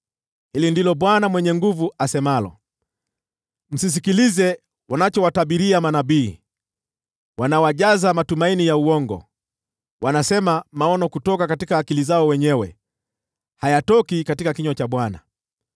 Hili ndilo Bwana Mwenye Nguvu Zote asemalo: “Msisikilize wanachowatabiria manabii, wanawajaza matumaini ya uongo. Wanasema maono kutoka akili zao wenyewe, hayatoki katika kinywa cha Bwana .